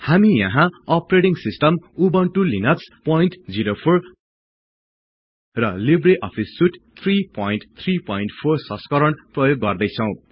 हामी यहाँ operating system Ubuntu Linux 04 र लिब्रे अफिस सुट 334 संस्करण प्रयोग गर्दैछौं